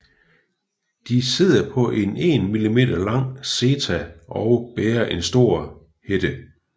De sidder på en 1 mm lang seta og bærer en stor hætte